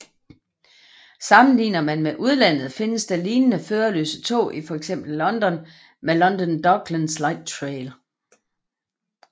Sammenligner man med udlandet findes der lignende førerløse tog i fx London med London Docklands Lightrail